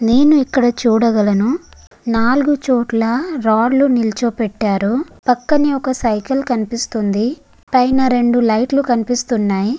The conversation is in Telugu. నేను ఇక్కడ చూడగలను నాల్గు చోట్ల రాడ్ లు నిల్చోపెట్టారు పక్కనే ఒక సైకిల్ కనిపిస్తుంది పైన రెండు లైట్ లు కనిపిస్తున్నాయి.